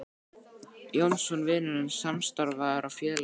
Jónsson: vinur hans, samstarfsmaður og félagi.